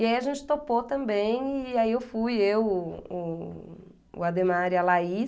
E aí a gente topou também, e aí eu fui, eu, o o o Ademar e a Laís.